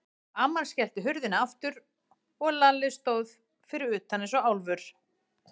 Amman skellti hurðinni aftur og Lalli stóð fyrir utan eins og álfur.